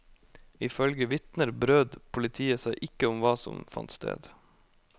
Ifølge vitner brød politiet seg ikke om hva som fant sted.